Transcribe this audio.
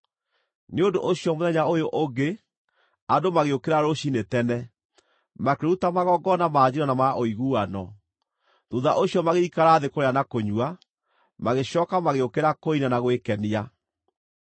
Nĩ ũndũ ũcio mũthenya ũyũ ũngĩ andũ magĩũkĩra rũciinĩ tene, makĩruta magongona ma njino na ma ũiguano. Thuutha ũcio magĩikara thĩ kũrĩa na kũnyua, magĩcooka magĩũkĩra kũina na gwĩkenia.